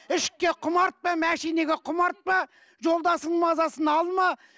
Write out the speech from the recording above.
ішікке құмартпа машинаға құмартпа жолдасыңның мазасын алма